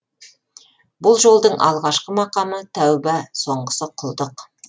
бұл жолдың алғашқы мақамы тәуба соңғысы құлдық